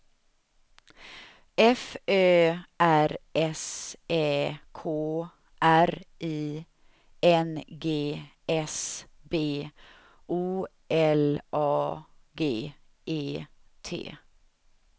F Ö R S Ä K R I N G S B O L A G E T